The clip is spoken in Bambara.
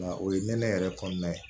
Nka o ye nɛnɛ yɛrɛ kɔnɔna ye